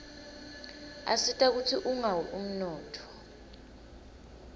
asita kutsi ungawi umnotfo